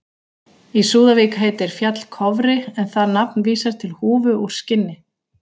Í Súðavík heitir fjall Kofri en það nafn vísar til húfu úr skinni.